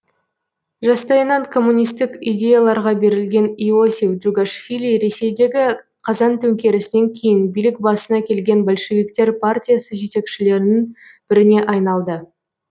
жастайынан коммунистік идеяларға берілген иосиф джугашвили ресейдегі қазан төңкерісінен кейін билік басына келген большевиктер партиясы жетекшілерінің біріне айналды